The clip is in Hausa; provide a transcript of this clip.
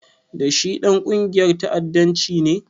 Da shi Ɗan ƙungiyar ta'addanci ne?